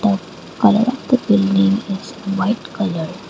colour of the building is white colour.